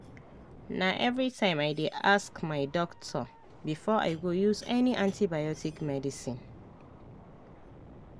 na everytime i dey ask my my doctor before i go use any antibiotic medicine.